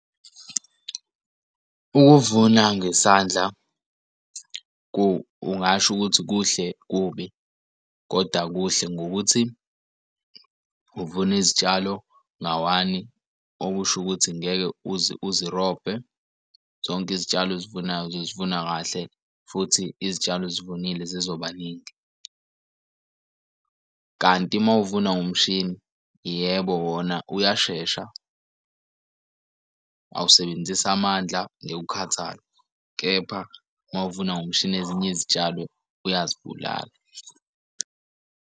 Ukuvuna ngesandla ungasho ukuthi kuhle kubi koda kuhle ngokuthi uvune izitshalo ngawani okusho ukuthi ngeke uze uzirobhe zonke izitshalo ozivunayo zifuna kahle futhi izitshalo ozivunile zizoba ningi. Kanti uma uvuna ngomshini, yebo wona uyashesha awusebenzisi amandla, ngeke ukukhathala, kepha uma uvuna ngomshini ezinye izitshalo uyazibulala.